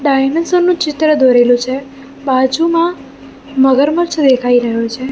Dinosaur નુ ચિત્ર દોરેલું છે બાજુમાં મગરમચ્છ દેખાય રહ્યો છે.